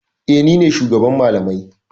Eh, ni ne shugaban malamai.